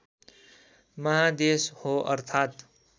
महादेश हो अर्थात्